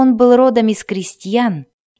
он был родом из крестьян